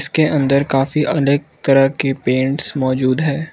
उसके अंदर काफी अनेक तरह के पेंट्स मौजूद हैं।